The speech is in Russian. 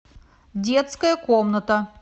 детская комната